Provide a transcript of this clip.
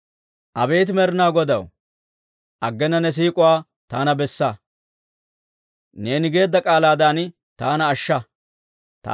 Abeet Med'inaa Godaw, aggena ne siik'uwaa taana bessa; neeni geedda k'aalaadan taana ashsha.